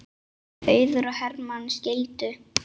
Auður og Hermann skildu.